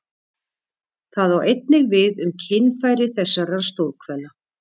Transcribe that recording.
Það á einnig við um kynfæri þessar stórhvela.